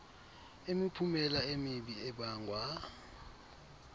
imiphumela emibi ebangwa